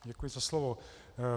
Děkuji za slovo.